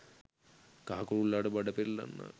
කහ කුරුල්ලාට බඩ පෙරලෙන්නාක්